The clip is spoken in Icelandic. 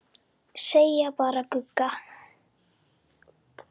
Segja bara Gugga.